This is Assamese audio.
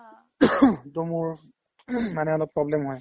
to মোৰ মানে অলপ problem হয় ।